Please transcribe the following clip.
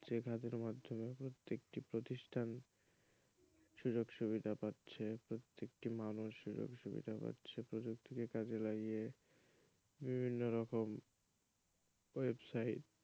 যে খাতের মাধ্যমে প্রত্যেকটি প্রতিষ্ঠান সুযোগ সুবিধা পাচ্ছে প্রত্যেকটি মানুষ সুযোগ সুবিধা পাচ্ছে প্রযুক্তিকে কাজে লাগিয়ে বিভিন্ন রকম ওয়েবসাইট,